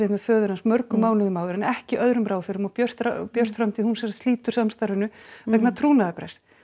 með föður hans mörgum mánuðum áður en ekki öðrum ráðherrum og Björt Björt framtíð slítur samstarfinu vegna trúnaðarbrests